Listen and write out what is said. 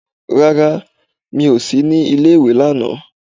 Rárá, mi ò sí ní ilé ìwé lánàá.